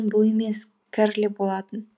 бұл емес кэрли болатын